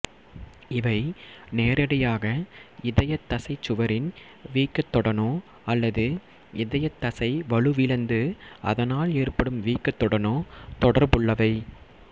இவை நேரடியாக இதயத்தசை சுவரின் வீக்கத்துடனோ அல்லது இதயத்தசை வலுவிழந்து அதனால் ஏற்படும் வீக்கத்துடனோ தொடர்புள்ளவை